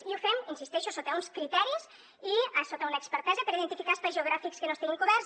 i ho fem hi insisteixo sota uns criteris i sota una expertesa per identificar espais geogràfics que no estiguin coberts